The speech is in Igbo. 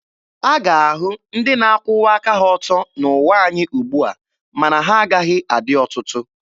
A ga-ahụ ndị na-akwụwa aka ha ọtọ n'ụwa anyị ugbua, ma na ha agaghị adị ọtụtụ.